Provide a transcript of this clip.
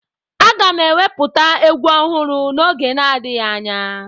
Aga m ewepụta egwu ọhụrụ n'oge na-adịghị anya